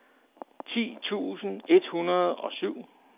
ti tusind et hundrede og syv